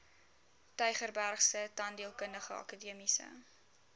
tygerbergse tandheelkundige akademiese